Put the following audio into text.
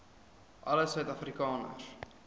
alle suid afrikaners